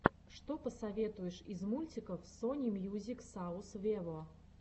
что посоветуешь из мультиков сони мьюзик саус вево